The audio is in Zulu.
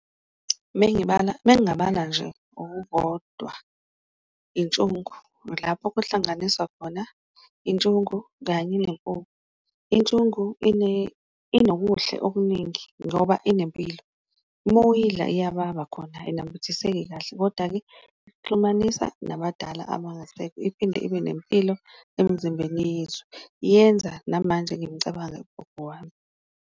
Mengibala mengabala nje okukodwa intshungu lapho kuhlanganiswa khona intshungu kanye , intshungu inokuhle okuningi ngoba inempilo uma uyidla iyababa khona ayinambithiseki kahle. Koda-ke, ikuxhumanisa nabadala abangasekho, iphinde ibe nempilo emzimbeni yethu, yenza namanje ngimcabange ugogo wami.